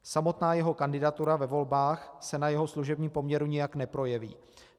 Samotná jeho kandidatura ve volbách se na jeho služebním poměru nijak neprojeví.